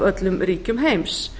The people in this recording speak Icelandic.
öllum ríkjum heims